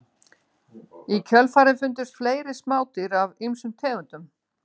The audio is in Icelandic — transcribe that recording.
Í kjölfarið fundust fleiri smádýr af ýmsum tegundum.